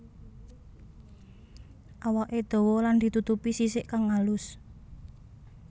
Awaké dawa lan ditutupi sisik kang alus